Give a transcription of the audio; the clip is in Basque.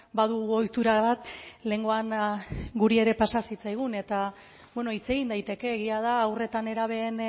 badugu ohitura bat lehengoan guri ere pasatu zitzaigun beno hitz egiten daiteke egia da haur eta nerabeen